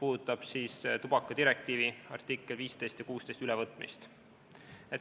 See eelnõu käsitleb tubakadirektiivi artiklite 15 ja 16 ülevõtmist.